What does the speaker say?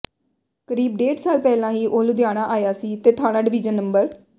ਕਰੀਬ ਡੇਢ ਸਾਲ ਪਹਿਲਾਂ ਹੀ ਉਹ ਲੁਧਿਆਣਾ ਆਇਆ ਸੀ ਤੇ ਥਾਣਾ ਡਵੀਜ਼ਨ ਨੰ